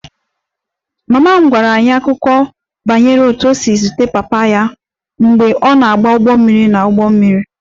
Mama m gwara anyị akụkọ banyere otú o si zute papa ya mgbe ọ na-agba ụgbọ mmiri n'ụgbọ mmiri